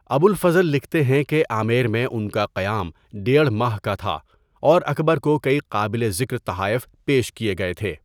ابوالفضل لکھتے ہیں کہ آمیر میں ان کا قیام ڈیڑھ ماہ کا تھا اور اکبر کو کئی قابل ذکر تحائف پیش کیے گئے تھے۔